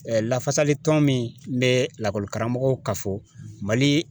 lafasalitɔn min bɛ lakɔlikaramɔgɔ kafɔ Mali